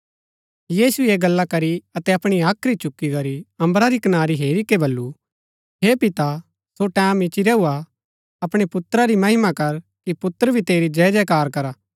यीशुऐ ऐह गल्ला करी अतै अपणी हाख्री चुकी करी अम्बरा री कनारी हेरी के बल्लू हे पिता सो टैमं इच्ची रैऊ हा अपणै पुत्रा री महिमा कर कि पुत्र भी तेरी जय जयकार करा